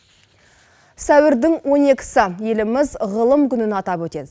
сәуірдің он екісі еліміз ғылым күнін атап өтеді